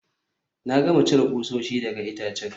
Na gama cire kusoshi daga itacen